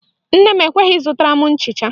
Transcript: Nne m ekweghị ịzụtara m nchịcha